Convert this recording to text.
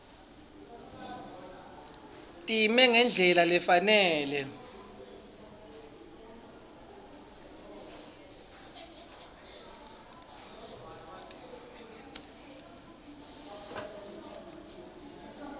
time ngendlela lefanele